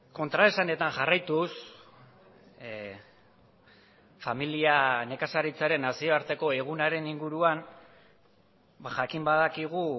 kontraesanetan jarraituz familia nekazaritzaren nazioarteko egunaren inguruan jakin badakigu